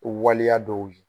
O waleya dɔw ye